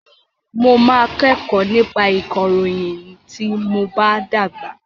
Mo máa kẹ́kọ̀ọ́ nípa ìkọ̀ròyìn tí mob á dàgbà.